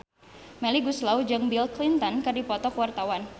Melly Goeslaw jeung Bill Clinton keur dipoto ku wartawan